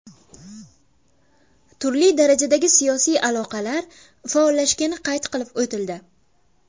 Turli darajadagi siyosiy aloqalar faollashgani qayd qilib o‘tildi.